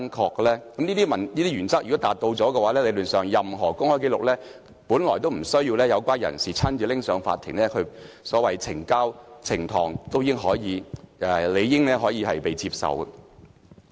如果能夠符合這些原則，理論上，任何公開紀錄本來無須有關人士親自提交法庭，所謂呈交或呈堂也理應可以被接受。